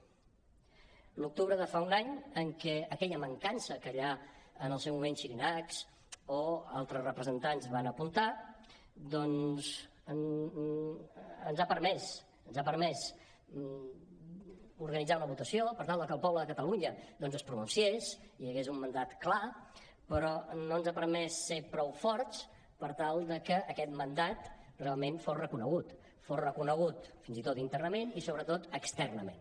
l’octubre de fa un any en què aquella mancança que ja en el seu moment xirinacs o altres representants van apuntar doncs ens ha permès organitzar una votació per tal de que el poble de catalunya es pronunciés i hi hagués un mandat clar però no ens ha permès ser prou forts per tal de que aquest mandat realment fos reconegut fos reconegut internament i sobretot externament